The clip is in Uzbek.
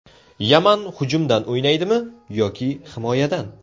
Yaman hujumdan o‘ynaydimi yoki himoyadan?